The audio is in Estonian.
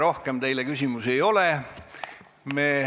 Rohkem teile küsimusi ei ole.